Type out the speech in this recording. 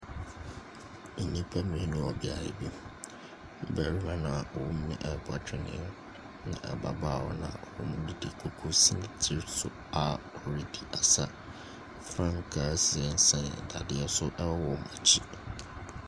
Nnipa mmienu wɔ beaeɛ bi. Ɔbarima no a ɔwɔ mu no rebɔ twene, ɛnna ababaawa no a ɔwɔ mu no de kukuo asi ne tiri so a ɔredi asa. Frankaa sensɛn adeɛ so wɔ wɔn akyi.